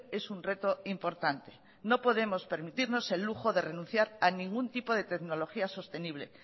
es un reto importante no podemos permitirnos el lujo de renunciar a ningún tipo de tecnología sostenible